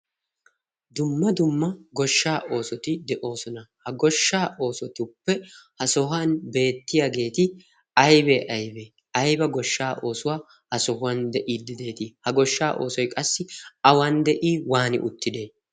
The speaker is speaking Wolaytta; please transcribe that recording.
dumma dumma goshsha oosoti de'oosona ha goshshaa oosotuppe ha sohuwan beettiyaageeti aybee aybee ayba goshshaa oosuwaa ha sohuwan de'ii dideetii ha goshshaa oosoi qassi awan de'ii waani uttide